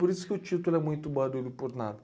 Por isso que o título é Muito Barulho por Nada.